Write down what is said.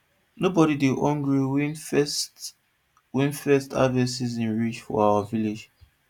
nobody dey hungry when first when first harvest season reach for our village